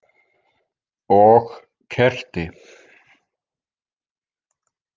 Og kerti.